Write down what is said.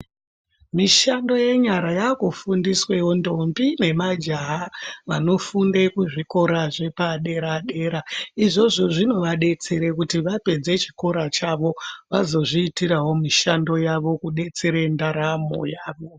Mishando yenyara yakufundiswewo ndombi nemajaha vanofunde kuzvikora zvepadera dera izvozvo zvinovadetsere kuti vaperze chikora chavo vazozviitirawo mushando yavo kudetsere ndaramo yavo.